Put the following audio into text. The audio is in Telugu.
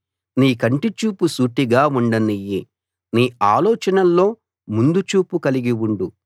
నీ కంటిచూపు సూటిగా ఉండనియ్యి నీ ఆలోచనల్లో ముందు చూపు కలిగి ఉండు